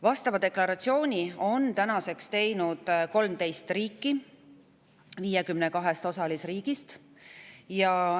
Vastava deklaratsiooni on tänaseks teinud 13 riiki 52 osalisriigist.